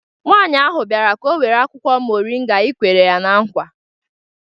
Nwaanyi ahụ biara ka ọ were akwụkwo moringa ị kwere ya na nkwa